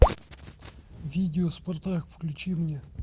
видео спартак включи мне